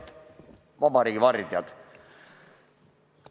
Head vabariigi vardjad!